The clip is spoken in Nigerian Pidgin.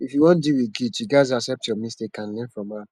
if you wan deal wit guilt you gats accept your mistake and learn from am